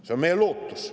See on meie lootus.